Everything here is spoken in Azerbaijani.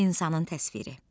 İnsanın təsviri.